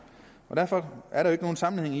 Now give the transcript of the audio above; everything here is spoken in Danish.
derfor er der ikke nogen sammenhæng